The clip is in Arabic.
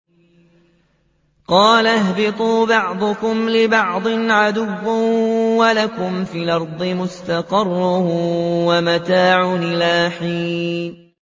قَالَ اهْبِطُوا بَعْضُكُمْ لِبَعْضٍ عَدُوٌّ ۖ وَلَكُمْ فِي الْأَرْضِ مُسْتَقَرٌّ وَمَتَاعٌ إِلَىٰ حِينٍ